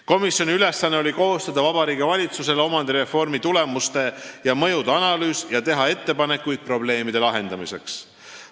Komisjoni ülesanne oli koostada Vabariigi Valitsusele omandireformi tulemuste ja mõjude analüüs ning teha ettepanekuid probleemide lahendamiseks.